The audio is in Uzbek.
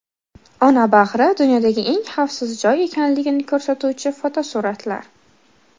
Ona bag‘ri dunyodagi eng xavfsiz joy ekanligini ko‘rsatuvchi suratlar.